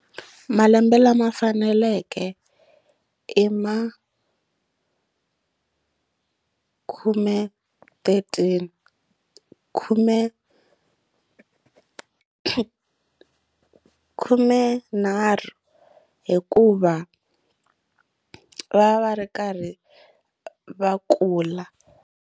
Malembe lama faneleke i ma khume thirteen khume khumenharhu hikuva va va ri karhi va kula.